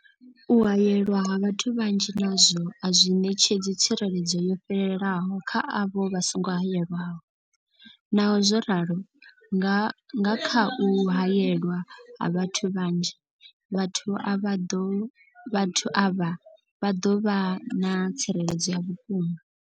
U haelwa ha vhathu vhanzhi nazwo a zwi ṋetshedzi tsireledzo yo fhelelaho kha avho vha songo haelwaho, naho zwo ralo, nga kha u haelwa ha vhathu vhanzhi, vhathu vhaḓo vhathu avha vha ḓo vha na tsireledzo ya vhukuma.